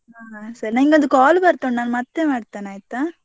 ಹಾ ಸರಿ ನನ್ಗೆ ಒಂದು call ಬರ್ತಾ ಉಂಟು. ನಾನು ಮತ್ತೆ ಮಾಡ್ತೇನೆ ಆಯ್ತಾ?